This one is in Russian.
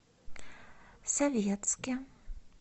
советске